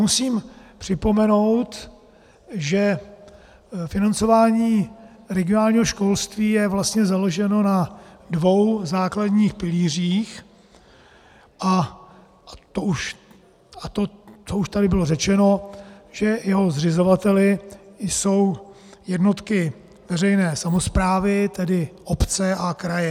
Musím připomenout, že financování regionálního školství je vlastně založeno na dvou základních pilířích, a to už tady bylo řečeno, že jeho zřizovateli jsou jednotky veřejné samosprávy, tedy obce a kraje.